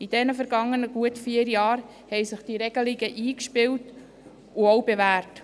In den vergangenen vier Jahren haben sich die Regelungen eingespielt und auch bewährt.